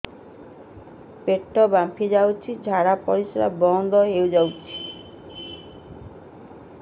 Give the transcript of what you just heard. ପେଟ ଫାମ୍ପି ଯାଇଛି ଝାଡ଼ା ପରିସ୍ରା ବନ୍ଦ ହେଇଯାଇଛି